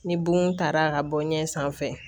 Ni bon taara ka bɔ ɲɛ sanfɛ